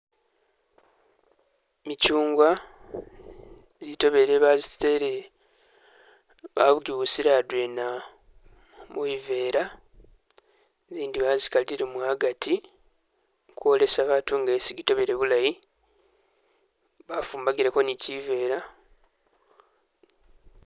Michungwa jitobele bajitele bajibusile adwena mubivela zindi bazikalilemo agati kwolesa batu ngesi gitobele bulayi bafumbagileko nikivela